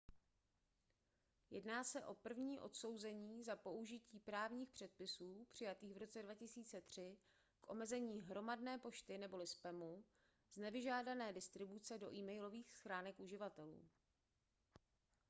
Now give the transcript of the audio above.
jedná se o první odsouzení za použití právních předpisů přijatých v roce 2003 k omezení hromadné pošty neboli spamu z nevyžádané distribuce do e-mailových schránek uživatelů